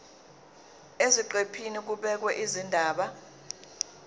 eziqephini kubhekwe izindaba